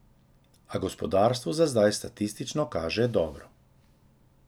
A gospodarstvu za zdaj statistično kaže dobro.